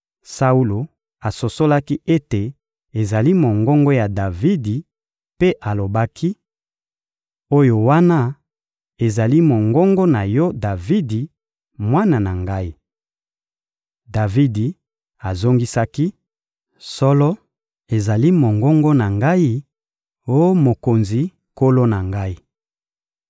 Saulo asosolaki ete ezali mongongo ya Davidi mpe alobaki: — Oyo wana ezali mongongo na yo Davidi, mwana na ngai. Davidi azongisaki: — Solo, ezali mongongo na ngai, oh mokonzi, nkolo na ngai.